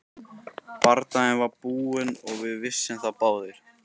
Bardaginn var búinn og við vissum það báðir.